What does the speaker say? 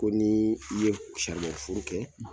Ko ni i ye furu kɛ